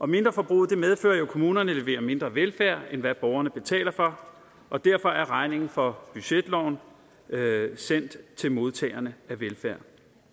mindreforbruget medfører jo at kommunerne leverer mindre velfærd end hvad borgerne betaler for og derfor er regningen for budgetloven sendt til modtagerne af velfærd